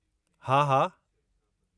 हा, हा।